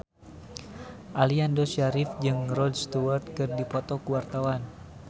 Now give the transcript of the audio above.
Aliando Syarif jeung Rod Stewart keur dipoto ku wartawan